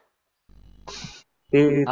subject